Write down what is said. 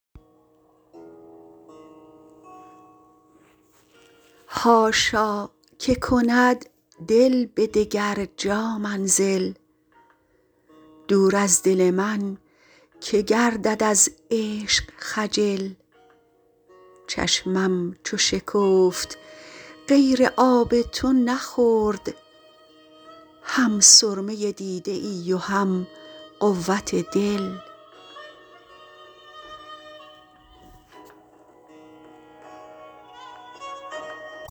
حاشا که کند دل به دگر جا منزل دور از دل من که گردد از عشق خجل چشمم چو شکفت غیر آب تو نخورد هم سرمه دیده ای و هم قوت دل